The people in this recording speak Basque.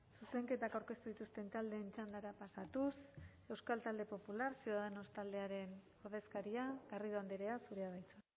zuzenketak aurkeztu dituzten taldeen txandara pasatuz euskal talde popular ciudadanos taldearen ordezkaria garrido andrea zurea da hitza